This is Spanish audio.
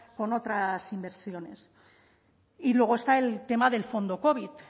con otras inversiones y luego está el tema del fondo covid